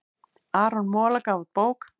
Aron Mola gaf út bók